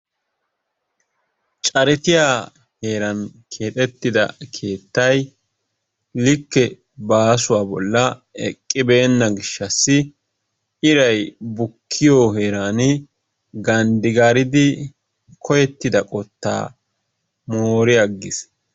Carettiya heeran keexxettida keettay likke baasuwa bolla eqqibeena gishshassi iray bukkiyo heeran ganddi gaariidi koyettida qotaa moori aggiis.